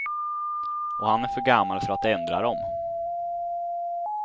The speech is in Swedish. Och han är för gammal för att ändra dem.